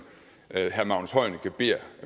herre magnus heunicke beder